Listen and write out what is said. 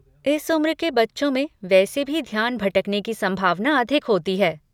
इस उम्र के बच्चों में वैसे भी ध्यान भटकने की संभावना अधिक होती है।